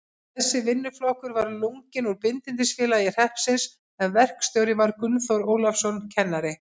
Þessi vinnuflokkur var lunginn úr Bindindisfélagi hreppsins, en verkstjóri var Gunnþór Ólafsson, kennari.